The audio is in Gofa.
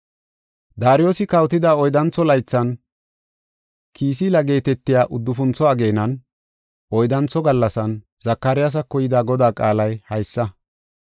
Daariyosi kawotida oyddantho laythan, Kisiila geetetiya uddufuntho ageenan, oyddantho gallasan, Zakariyasako yida Godaa qaalay haysa.